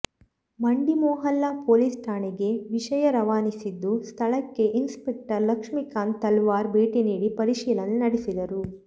ಮಂಡಿಮೊಹಲ್ಲಾ police ಠಾಣೆಗೆ ವಿಷಯ ರವಾನಿಸಿದ್ದು ಸ್ಥಳಕ್ಕೆ ಇನ್ಸಪೆಕ್ಟರ್ ಲಕ್ಷ್ಮಿಕಾಂತ್ ತಲವಾರ್ ಭೇಟಿ ನೀಡಿ ಪರಿಶೀಲನೆ ನಡೆಸಿದರು